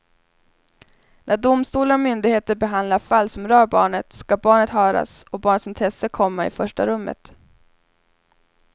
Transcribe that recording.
När domstolar och myndigheter behandlar fall som rör barnet ska barnet höras och barnets intresse komma i första rummet.